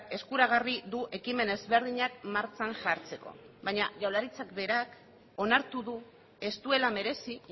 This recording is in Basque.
eskuragarri du ekimen ezberdinak martxan jartzeko baina jaurlaritzak berak onartu du ez duela merezi